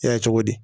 Yɛ cogo di